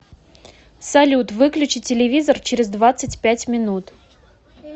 салют выключи телевизор через двадцать пять минут